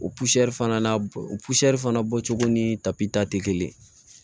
O fana n'a o fana bɔcogo ni tapi ta tɛ kelen ye